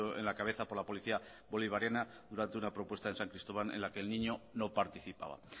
en la cabeza por la policía bolivariana durante una propuesta en san cristóbal en la que el niño no participaba